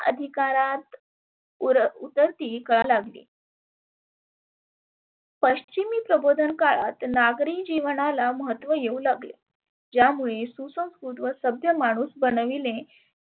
अधिकारात उर उतरती कळा लागली. पश्चिमी प्रबोधन काळात नागरी जिवणाला महत्व येऊ लागले. ज्यामुळे सुसंकृत व सभ्य माणुस बनविले